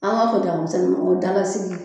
An b'a fɔ dagamisɛnnin ma ko dalasigi